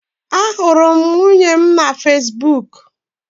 Ahụrụ m nwunye m na Fesbuk